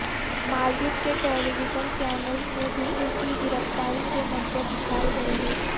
مالدیپ کے television channels میں بھی ان کی گرفتاری کے منظر دکھائے گئے ہیں